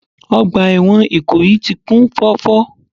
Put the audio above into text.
Ọgbà ẹ̀wọ̀n Ìkòyí ti kún fọ́fọ́